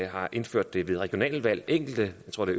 har indført det ved regionalvalg og enkelte jeg tror det